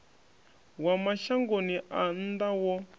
wa mashangoni a nnḓa wo